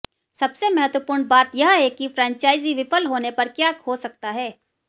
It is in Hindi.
सबसे महत्वपूर्ण बात यह है कि फ्रेंचाइजी विफल होने पर क्या हो सकता है